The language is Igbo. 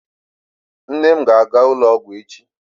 Nne m ga-aga ụlọ ọgwụ echi.